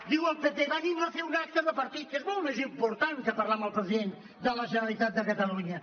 diu el pp venim a fer un ac·te de partit que és molt més important que parlar amb el president de la generalitat de catalunya